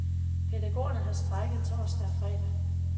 Pædagogerne har strejket torsdag og fredag.